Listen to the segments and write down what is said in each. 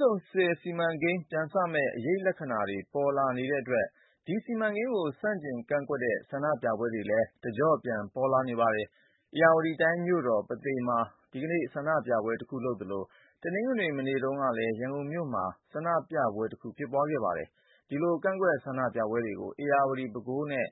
ဆုံဆည်စီမံကိန်း ပြန်စမယ့် အရိပ်လက္ခဏာတွေ ပြန်ပေါ်လာနေတဲ့အတွက် ဒီစီမံကိန်းကို ဆန့်ကျင်ကန့်ကွက်တဲ့ ဆန္ဒပြပွဲတွေ လည်း တကျော့ ပြန်ပေါ်လာပါတယ်။ ဧရာဝတီတိုင်းရဲ့မြို့တော်ဖြစ်တဲ့ ပုသိမ်မြို့မှာ ဇန်နဝါရီလ ၂၈ ရက်၊ တနင်္လာနေ့က ဆန္ဒပြပွဲတခု လုပ်ကြသလို တနင်္ဂနွေနေ့ကလည်း ရန်ကုန်မြို့မှာ ဆန္ဒပြပွဲတခုလုပ်ခဲ့ပါတယ်။ ဒီလို ကန့်ကွက်ဆန္ဒပြပွဲ တွေကို ဧရာဝတီ၊ ပဲခူးနဲ့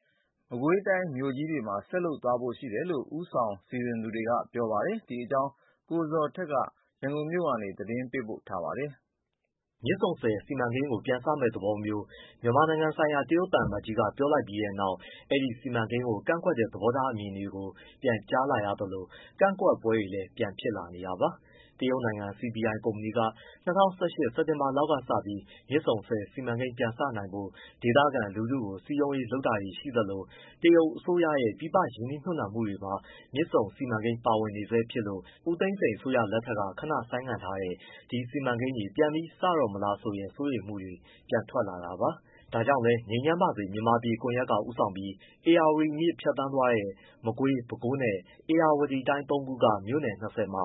မကွေးတိုင်းတွေ မြို့ကြီးတွေမှာ ဆက်လုပ်သွားဖို့ရှိတယ်လို့ ဦးဆောင်စီစဉ်သူတွေက ပြောပါတယ်။ ဒီအကြောင်း ဗွီအိုအေသတင်းထောက် ကိုဇော်ထက်က ရန်ကုန်မြို့ကနေ သတင်းပေးပို့ထားပါတယ်။ မြစ်ဆုံဆည်စီမံကိန်းကို ပြန်စမယ့်သဘောမျိုး မြန်မာနိုင်ငံဆိုင်ရာ တရုတ်သံအမတ်ကြီးက ပြောလိုက်ပြီးတဲ့နောက် ဒီစီမံကိန်းကို ကန့်ကွက်တဲ့ သဘောထားအမြင်တွေကို ပြန်ကြားလာရသလို ကန့်ကွက်ပွဲတွေလည်း ပြန်ဖြစ်လာနေတာပါ။ တရုတ်နိုင်ငံ CPI ကုမ္ပဏီက ၂၀၁၈ စက်တင်ဘာလောက်ကစပြီး မြစ်ဆုံဆည်စီမံကိန်းပြန်စနိုင်ဖို့ ဒေသခံလူထုကို စည်းရုံးရေးလုပ်လာတာတွေရှိသလို တရုတ်အစိုးရရဲ့ ပြည်ပရင်းနှီးမြှု့ပ်နှံမှုတွေမှာ မြစ်ဆုံစီမံကိန်းက ပါဝင်နေဆဲဖြစ်လို့ ဦးသိန်းစိန်အစိုးရလက်ထက်က ခဏရပ်ဆိုင်းထားတဲ့ ဒီစီမံကိန်းတွေ ပြန်ပြီးစတော့မလားဆိုတဲ့ စိုးရိမ်မှုတွေ ပြန်ထွက်လာတာပါ။ ဒါကြောင့်လည်း ငြိမ်းချမ်းပါစေ မြန်မာပြည် ကွန်ရက်ကဦးဆောင်ပြီး ဧရာဝတီမြစ်ဖြတ်သန်းသွားတဲ့ မကွေး၊ ပဲခူးနဲ့၊ ဧရာဝတီ တိုင်းသုံးခုက မြို့နယ် ၂၀ မှာ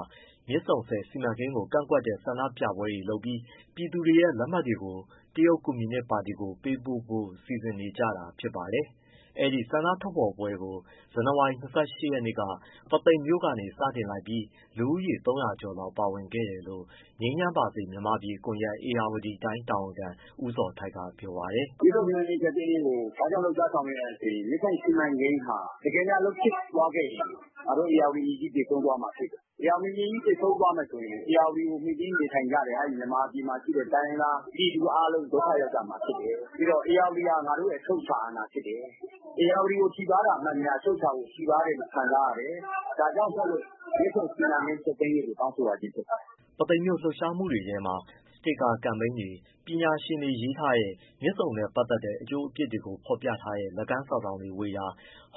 မြစ်ဆုံဆည်စီမံကိန်းကိ ကန့်ကွက်တဲ့ ဆန္ဒပြပွဲတွေလုပ်ပြီး ပြည်သူတွေရဲ့လက်မှတ်တွေကို တရုတ်ကွန်မြူနစ် ပါတီကို ပေးပို့ဖို့စီစဉ်နေကြတာဖြစ်ပါတယ်။ အဲဒီဆန္ဒထုတ်ဖော်ပွဲကို ဇန်နဝါရီလ ၂၈ ရက်နေ့က ပုသိမ်မြို့ကနေစတင်လိုက်ပြီး လူဦးရေ ၃၀၀ ကျော်လောက်ပါဝင်ခဲ့တယ်လို့ ငြိမ်းချမ်းပါစေမြန်မာပြည်ကွန်ရက် ဧရာဝတီတိုင်းတာဝန်ခံ ဦးဇော်ထိုက်က ပြောပါတယ်။ “မြစ်ဆုံစီမံကိန်းဖျက်သိမ်းရေးကို ဘာကြောင့်လှုပ်ရှားဆောင်ရွက်ရသလဲဆိုရင် မြစ်ဆုံစီမံကိန်းဟာ တကယ်များအလုပ်ဖြစ်သွားခဲ့ရင် ငါတို့ဧရာဝတီမြစ်ကြီး သေဆုံးသွားမှာဖြစ်တယ်။ ဧရာဝတီမြစ်ကြီးသေဆုံးသွားမယ်ဆိုရင် ဧရာဝတီဖြစ်ကိုမှီတင်းနေထိုင်ကြတဲ့ မြန်မာနိုင်ငံမှာရှိတဲ့ တိုင်းရင်းသား ပြည်သူအားလုံး ဒုက္ခရောက်ကြမှာဖြစ်တယ်။ ပြီးတော့ဧရာဝတီဟာ ငါတို့ရဲ့ အချုပ်အခြာ၊ အာဏာ ဖြစ်တယ်။ ဧရာဝတီကိုထိပါးတာမှန်သမျှ အချုပ်အခြာကို ထိပါးတယ်လို့ ခံစားရတယ်။ ဒါကြောင့်မို့လို့ မြစ်ဆုံစီမံကိန်းဖျက်သိမ်းရေးကို တောင်းဆိုရခြင်းဖြစ်ပါတယ်။” ပုသိမ်မြို့ လှုပ်ရှားမှုထဲမှာ စတစ်ကာ ကမ်ပိန်းတွေ၊ ပညာရှင်တွေရေးထားတဲ့ မြစ်ဆုံနဲ့ပတ်သက်တဲ့ အကျိုးအပြစ်တွေကို ဖော်ပြ ထားတဲ့ လက်ကမ်းစာစောင်ဝေတာ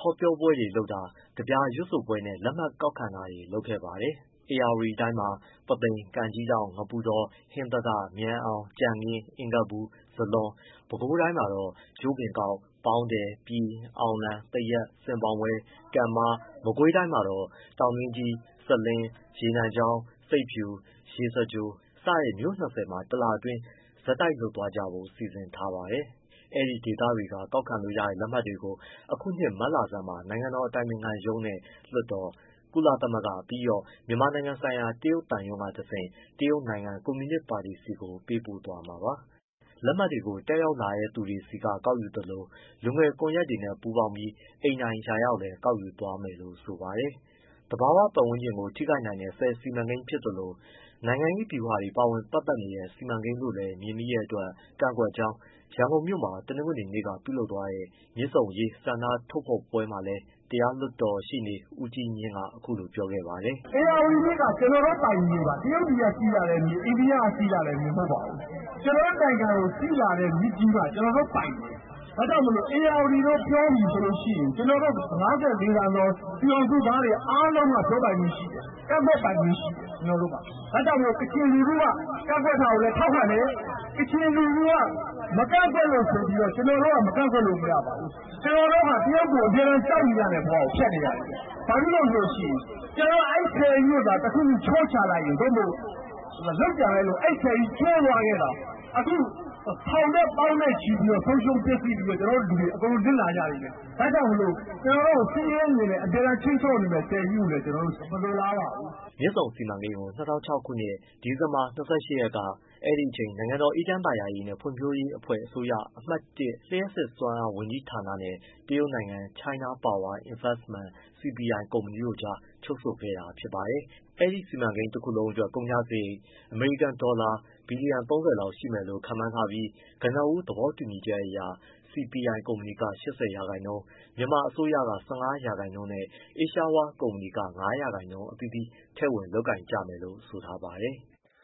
တွေ၊ ဟောပြောပွဲတွေ၊ ကဗျာရွတ်ဆိုပွဲနဲ့ လက်မှတ်ကောက်ခံတာတွေ လုပ်ခဲ့တာပါ။ ဧရာဝတီတိုင်းမှာ ပုသိမ်၊ ကန်ကြီးထောင့်၊ ငပုတော၊ ဟင်္သာတ၊ မြန်အောင်၊ ကြံခင်း၊ အင်္ဂပူ၊ ဇလွန်။ ပဲခူးတိုင်းမှာတော့ ကြို့ပင်ကောက်၊ ပေါင်းတည်၊ ပြည်၊ အောင်လံ၊ သရက်၊ ဆင်ပေါင်ဝဲ၊ ကန်မ၊ မကွေးတိုင်းမှာ တောင်တွင်းကြီး၊ စလင်း၊ ရေနံချောင်း၊ ဆိပ်ဖြူ၊ ရေစကြို စတဲ့မြို့ ၂၀ မှာ တစ်လအတွင်း ဆက်တိုက်လုပ်သွားကြဖို့ စီစဉ်ထားပါတယ်။ အဲဒီဒေသတွေက ကောက်ခံလို့ရတဲ့လက်မှတ်တွေကို အခုနှစ်မတ်လဆန်းမှာ နိုင်ငံတော်အတိုင်ပင်ခံရုံးနဲ့ လွှတ်တော်၊ ကုလသမဂ္ဂ၊ ပြီးတော့ မြန်မာနိုင်ငံဆိုင်ရာ တရုတ်သံရုံးကတဆင့် တရုတ်နိုင်ငံကွန်မြူနစ်ပါတီဆီကို ပေးပို့သွားမှာပါ။ လက်မှတ်တွေကို တက်ရောက်လာတဲ့သူတွေက ကောက်ယူသလို လူငယ်ကွန်ရက်တွေနဲ့ပူးပေါင်းပြီး အိမ်တိုင်ရာရောက်လည်း ကောက်ယူသွားမယ်လို့ဆိုပါတယ်။ သဘာဝပတ်ဝန်းကျင်ကို ထိခိုက်နိုင်တဲ့ ဆည်စီမံကိန်းဖြစ်သလို နိုင်ငံရေးဗျူဟာတွေ ပါဝင်ပတ်သက်နေတဲ့ စီမံကိန်းလို့လည်း မြင်မိတဲ့အတွက် ကန့်ကွက်ကြောင်း ရန်ကုန်မြို့မှာ တနင်္ဂနွေနေ့ကလုပ်သွားတဲ့ မြစ်ဆုံအရေးဆန္ဒဖော်ထုတ်ပွဲမှာလည်း တရားလွှတ်တော်ရှေ့နေ ဦးကြီးမြင့်က အခုလိုပြောခဲ့ပါတယ်။ “ဧရာဝတီမြစ်က ကျနော်တို့ပိုင်မြေပါ တရုတ်ပြည်ကစီးလာတဲ့မြစ်၊ အိန္ဒိယကစီးလာတဲ့မြစ် မဟုတ်ပါဘူး။ ကျွန်တော်တို့နိုင်ငံကိုစီးလာတဲ့မြစ်ကြီးပါ။ ကျနော်တို့ပိုင်တယ် ဒါကြောင့်မို့လို့ ဧရာဝတီလို့ပြောလို့ရှိရင် ကျနော်တို့ ၅၄သန်းသော ပြည်ထောင်စုသားတွေအားလုံး ပြောပိုင်ခွင့်ရှိတယ်။ ကန့်ကွက် ပိုင်ခွင့်ရှိတယ်။ ဒါကြောင့်ကချင်လူထုက ကန့်ကွက်တာကိုလည်း ထောက်ခံတယ် ကချင်လူထုက မကန့်ကွက်လို့ဆိုပြီးတော့ ကျနော်တို့က မကန့်ကွက်လို့ မရပါဘူး။ ကျနော်တို့ဟာ တရုတ်ကိုအမြဲတမ်းကြောက်နေရတဲ့ ဘဝကိုဖြတ်နေရတယ်၊ ဘာဖြစ်လို့ရှိရင် ကျနော်တို့က အဲဒီဆည်ကြီးကိုသာ တခုခုချိုးချလိုက်ရင် သို့မဟုတ်လုပ်ကြံလိုက်လို့ အဲဒီဆည်ကြီးကျိုးသွားခဲ့သော် ထောင်နဲ့သောင်းနဲ့ချီပြီးတော့ ဆုံးရှုံးပျက်စီးပြီးတော့ ကျွန်တော်တို့လူတွေ အကုန်လုံးနစ်နာကြလိမ့်မယ်။ ဒါကြောင့်မို့လို့ ကျွန်တော်တို့ စစ်ရေးအမြင်နဲ့ ခြိမ်းခြောက်နေမယ့် ဆည်ကြီးကိုလည်း ကျနော်တို့မလိုလားပါဘူး။” မြစ်ဆုံစီမံကိန်းကို ၂၀၀၆ ခုနှစ်၊ ဒီဇင်ဘာလ ၂၈ ရက်က အဲဒီအချိန် နိုင်ငံတော် အေးချမ်းသာယာရေးနဲ့ ဖွံ့ဖြိုးရေးအဖွဲ့အစိုးရရဲ့ အမှတ် ၁ လျှပ်စစ်စွမ်းအားဝန်ကြီးဌာနနဲ့ တရုတ်နိုင်ငံ China Power Investment-CPI ကုမ္ပဏီတို့ ကြား စာချုပ် ချုပ်ဆိုခဲ့တာဖြစ်ပါတယ်။ ဒီစီမံကိန်းတခုလုံးအတွက် ကုန်ကျစရိတ် အမေရိကန်ဒေါ်လာ ဘီလီယံ ၃၀ လောက်ရှိမယ်လို့ ခန့်မှန်းထားပြီး ကနဦး သဘောတူ ညီချက်အရ CPI ကုမ္ပဏီက ၈၀%၊ မြန်မာအစိုးရက ၁၅% နဲ့ Asia World ကုမ္ပဏီက ၅% အသီးသီး ထည့်ဝင်လုပ်ကိုင်ကြမယ် လို့ ဆိုထားပါတယ်။